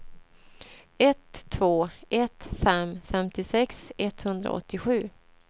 ett två ett fem femtiosex etthundraåttiosju